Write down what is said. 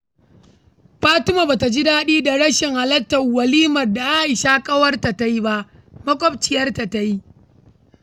Fatima ba ta ji daɗi ba da rashin halartar walimarta da Aisha maƙwabciyarta ta yi.